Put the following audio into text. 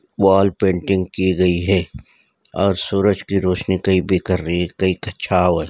वाल पेंटिंग की गयी हैऔर सूरज की रोशनी कही बिखर रही है कही पे छाव है।